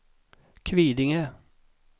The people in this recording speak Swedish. Kvidinge